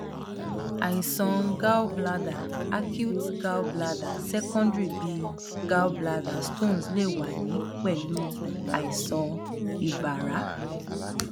àìsàn gallbladder acute gallbladder secondary bi gallbladder stones lè wà ní pẹlú àìsàn ibàrá